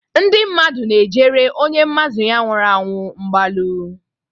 Ndị mmadụ na-ejere onye mmadụ ya nwụrụ anwụ mgbalu.